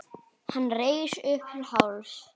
Hann reis upp til hálfs.